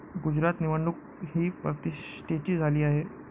गुजरात निवडणूक ही प्रतिष्ठेची झाली आहे.